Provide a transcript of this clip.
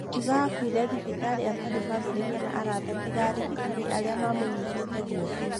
Akiuga akuire thibitarĩ atarĩ bamĩrĩ kana arata tiga arigitani arĩa mamũnyitĩte guoko.